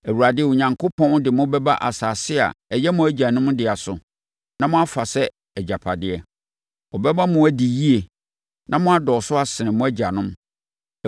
Awurade Onyankopɔn de mo bɛba asase a ɛyɛ mo agyanom dea so, na moafa sɛ agyapadeɛ. Ɔbɛma mo adi yie na mo adɔɔso asene mo agyanom.